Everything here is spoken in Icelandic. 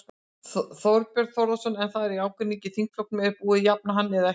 Þorbjörn Þórðarson: En það er ágreiningur í þingflokknum, er búið að jafna hann eða ekki?